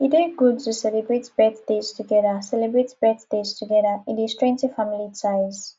e dey good to celebrate birthdays together celebrate birthdays together e dey strengthen family ties